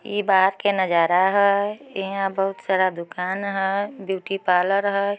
ई के नजारा हेय। इहा बहुत सारा दुकान हैय। ब्यूटी पार्लर हेय।